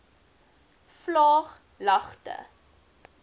vlaaglagte